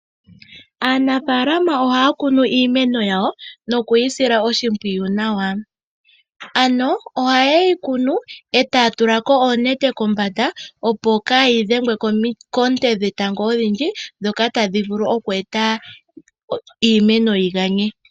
Aanafalama ohaya kunu iimenoyawo no kuyi sila oshimpwiyu nawa. Ano oha yeyi kunu eta ya tu lako oonete kombanda opo kaa yi dhengwe Koonte dhe tango odhindji, ndhoka tadhi vulu oku eta iimeno yi ganye.